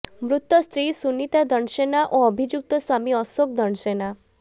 ମୃତ ସ୍ତ୍ରୀ ସୁନିତା ଦଣ୍ଡସେନା ଓ ଅଭିଯୁକ୍ତ ସ୍ୱାମୀ ଅଶୋକ ଦଣ୍ଡସେନା